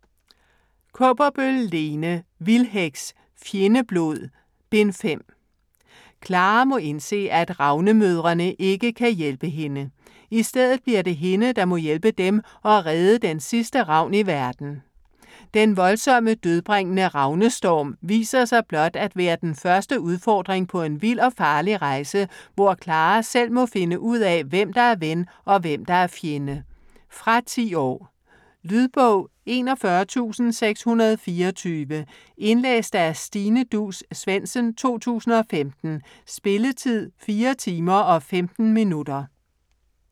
Kaaberbøl, Lene: Vildheks: Fjendeblod: Bind 5 Clara må indse at ravnemødrene ikke kan hjælpe hende. I stedet bliver det hende der må hjælpe dem og redde den sidste ravn i verden. Den voldsomme dødbringende ravnestorm viser sig blot at være den første udfordring på en vild og farlig rejse hvor Clara selv må finde ud af hvem der er ven og hvem der er fjende. Fra 10 år. Lydbog 41624 Indlæst af Stine Duus Svendsen, 2015. Spilletid: 4 timer, 15 minutter.